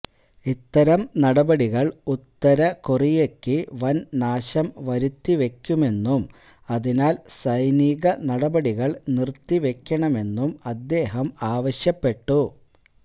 ഇത്തരം നടപടികള് ഉത്തര കൊറിയക്ക് വന് നാശം വരുത്തിവെക്കുമെന്നും അതിനാല് സൈനിക നടപടികള് നിര്ത്തിവെക്കണമെന്നും അദ്ദേഹം ആവശ്യപ്പെട്ടു